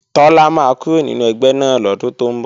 Tọ́lá máa kúrò nínú ẹgbẹ́ náà lọ́dún tó ń bọ̀